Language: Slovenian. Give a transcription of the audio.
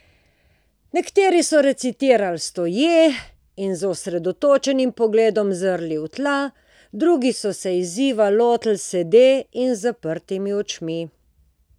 Nekateri so recitirali stoje in z osredotočenim pogledom zrli v tla, drugi so se izziva lotili sede in z zaprtimi očmi.